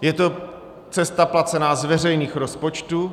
Je to cesta placená z veřejných rozpočtů.